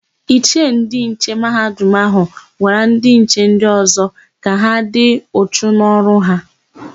Ichie ndịnche Mahadum áhụ̀ gwara ndịnche ndị ọ̀zọ́ ka ha dị uchu n'ọrụ ha.